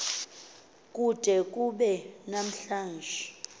kude kube namhlanje